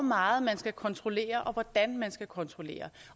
meget man skal kontrollere og hvordan man skal kontrollere